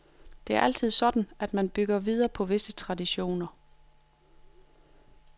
Det er altid sådan, at man bygger videre på visse traditioner.